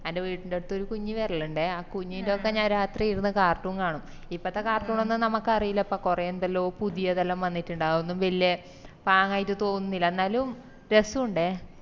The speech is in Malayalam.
അന്റെ വീട്ടിന്റെടുത് ഒര് കുഞ്ഞ് വിരലിന്റെ ആ കുഞ്ഞിന്റെടുക്ക ഞാൻ രാത്രി ഇരുന്ന് cartoon കാണും ഇപ്പത്തെ cartoon ഒന്നും നമുക്കറിയില്ലപ്പാ കൊറേ എന്തെല്ലോ പുതിയതെല്ലോം വന്നിറ്റ്ണ്ട് അതൊന്നും വെല്യ പാങ് ആയിറ്റ് തോന്നുന്നില്ല എന്നാലും രസോണ്ടേ